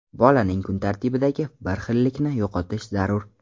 Bolaning kun tartibidagi bir xillikni yo‘qotish zarur.